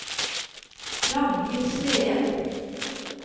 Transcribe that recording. Ragnhild Sveen